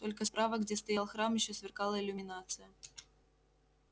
только справа где стоял храм ещё сверкала иллюминация